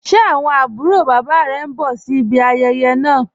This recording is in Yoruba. Ṣẹ́ awọn abùrò baba rẹ̀ ǹ bọ̀ sí ìbí ayéyé naa?